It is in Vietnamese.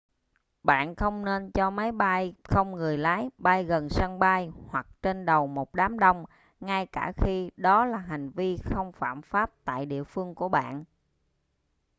bạn không nên cho máy bay không người lái bay gần sân bay hoặc trên đầu một đám đông ngay cả khi đó là hành vi không phạm pháp tại địa phương của bạn